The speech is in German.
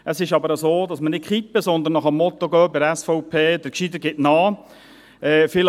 Es ist aber so, dass wir nicht kippen, sondern bei der SVP dem Motto «der Gescheitere gibt nach» folgen.